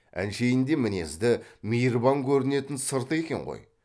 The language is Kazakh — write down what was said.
әншейінде мінезді мейірбан көрінетін сырты екен ғой